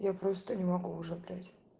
я просто не могу уже блять